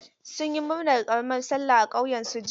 Sun yi murnar karamar sallah a ƙauyen su jiya.